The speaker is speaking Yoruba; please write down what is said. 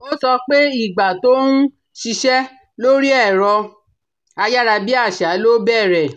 Ó sọ pé ìgbà tó ń ṣiṣẹ́ lórí ẹ̀rọ ayárabíàṣá ló bẹ̀rẹ̀